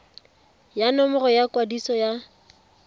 ya nomoro ya kwadiso ya